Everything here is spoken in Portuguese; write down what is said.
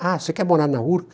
Ah, você quer morar na Urca?